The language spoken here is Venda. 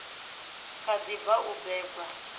kha ḓi bva u bebwa